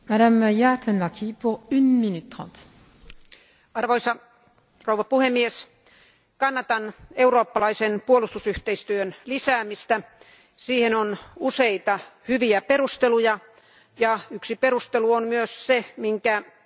Arvoisa puhemies, kannatan eurooppalaisen puolustusyhteistyön lisäämistä, siihen on useita hyviä perusteluja ja yksi perustelu on myös se, jonka korkea edustaja Mogherini mainitsi,